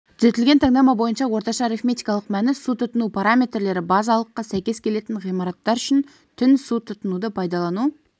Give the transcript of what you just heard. түзетілген таңдама бойынша орташа арифметикалық мәні су тұтыну параметрлері базалыққа сәйкес келетін ғимараттар үшін түн су тұтынуды пайдалану